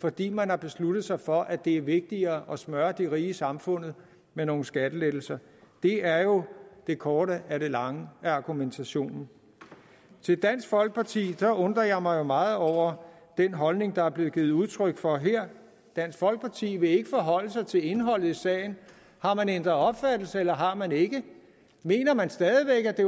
fordi man har besluttet sig for at det er vigtigere at smøre de rige i samfundet med nogle skattelettelser det er jo det korte af det lange i argumentationen til dansk folkeparti jeg undrer jeg mig meget over den holdning der er blevet givet udtryk for her dansk folkeparti vil ikke forholde sig til indholdet i sagen har man ændret opfattelse eller har man ikke mener man stadig væk at det